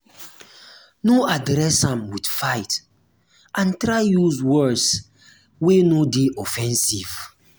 no address am with fight and try use words wey no de offensive